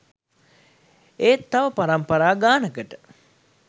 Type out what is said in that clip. ඒත් තව පරම්පරා ගානකට